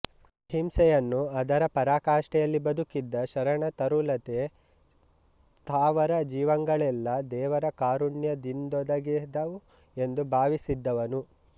ಅಹಿಂಸೆಯನ್ನು ಅದರ ಪರಾಕಾಷ್ಠೆಯಲ್ಲಿ ಬದುಕಿದ್ದ ಶರಣ ತರುಲತೆ ಸ್ಥಾವರ ಜೀವಂಗಳೆಲ್ಲ ದೇವರ ಕಾರುಣ್ಯದಿಂದೊಗೆದವು ಎಂದು ಭಾವಿಸಿದ್ದವನು